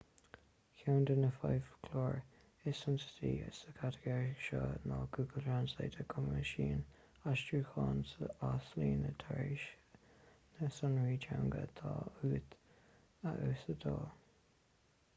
ceann de na feidhmchláir is suntasaí sa chatagóir seo ná google translate a chumasaíonn aistriúchán as líne tar éis na sonraí teanga atá uait a íoslódáil